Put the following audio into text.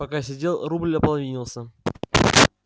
пока сидел рубль ополовинился